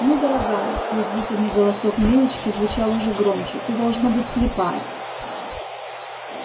ну дорогая язвительный голосок милочки звучал уже громче ты должно быть слепая